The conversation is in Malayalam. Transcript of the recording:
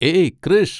ഏയ് കൃഷ്!